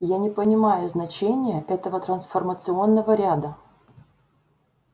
я не понимаю значения этого трансформационного ряда